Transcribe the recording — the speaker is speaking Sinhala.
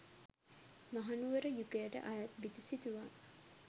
මහනුවර යුගයට අයත් බිතු සිතුවම්